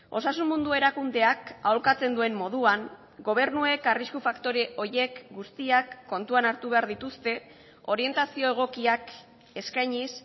osasun mundu erakundeak aholkatzen duen moduan gobernuek arrisku faktore horiek guztiak kontuan hartu behar dituzte orientazio egokiak eskainiz